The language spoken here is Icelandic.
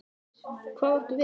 Hvað áttu við?